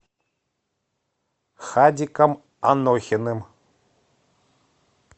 хадиком анохиным